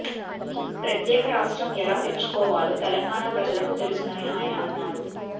ప్రత్యేక రాష్ట్రం ఎలా తెచ్చుకోవాలో తెలంగాణ ప్రజలకు తెలుసునని ఆయన అన్నారు